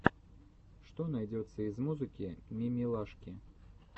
что найдется из музыки мимилашки